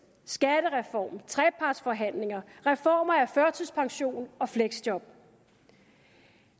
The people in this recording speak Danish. skattereform trepartsforhandlinger reformer af førtidspension og fleksjob